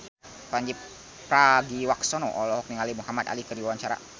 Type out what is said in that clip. Pandji Pragiwaksono olohok ningali Muhamad Ali keur diwawancara